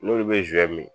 N'olu bɛ zon mi